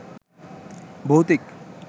ভৌতিক